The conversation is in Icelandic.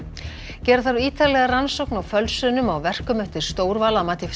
gera þarf ítarlega rannsókn á fölsunum á verkum eftir Stórval að mati